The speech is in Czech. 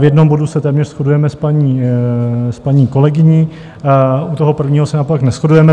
V jednom bodu se téměř shodujeme s paní kolegyní, u toho prvního se naopak neshodujeme.